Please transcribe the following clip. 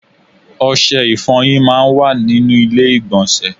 Ọṣẹ ìfọ̀wọ máa ń wà nínú ilé ìgbọ̀nsẹ̀.